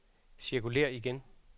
cirkulér igen